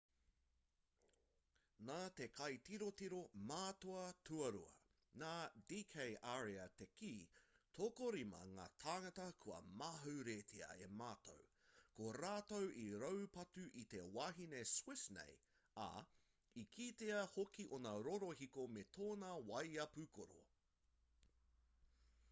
nā te kaitirotiro mātua tuarua nā d k arya te kī tokorima ngā tāngata kua mauheretia e mātou ko rātou i raupatu i te wahine swiss nei ā i kitea hoki ōna rorohiko me tōna waea pūkoro